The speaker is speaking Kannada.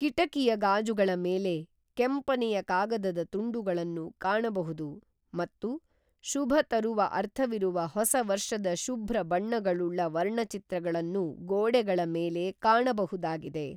ಕಿಟಕಿಯ ಗಾಜುಗಳ ಮೇಲೆ ಕೆಂಪನೆಯ ಕಾಗದದ ತುಂಡುಗಳನ್ನು ಕಾಣಬಹುದು ಮತ್ತು ಶುಭ ತರುವ ಅರ್ಥವಿರುವ ಹೊಸ ವರ್ಷದ ಶುಭ್ರ ಬಣ್ಣಗಳುಳ್ಳ ವರ್ಣಚಿತ್ರಗಳನ್ನು ಗೋಡೆಗಳ ಮೇಲೆ ಕಾಣಬಹುದಾಗಿದೆ